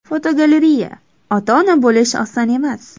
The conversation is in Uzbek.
Fotogalereya: Ota-ona bo‘lish oson emas.